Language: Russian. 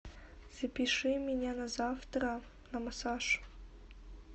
запиши меня на завтра на массаж